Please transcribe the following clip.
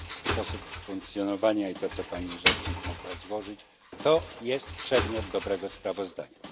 Sposób funkcjonowania i to, co pani rzecznik mogła złożyć, to jest przedmiot dobrego sprawozdania.